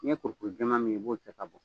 N'i ye kurukuru jɛma min ye i b'o ta ka bɔ.